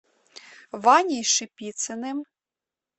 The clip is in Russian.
ваней шипицыным